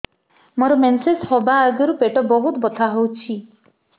ମୋର ମେନ୍ସେସ ହବା ଆଗରୁ ପେଟ ବହୁତ ବଥା ହଉଚି